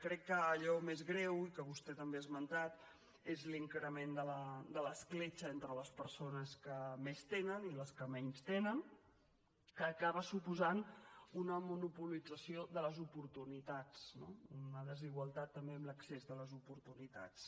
crec que allò més greu i que vostè també ha esmentat és l’increment de l’escletxa entre les persones que més tenen i les que menys tenen que acaba suposant una monopolització de les oportunitats no una desigualtat també en l’accés de les oportunitats